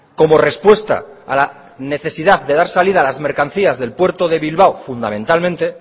como respuesta a la necesidad de dar salida a las mercancías del puerto de bilbao fundamentalmente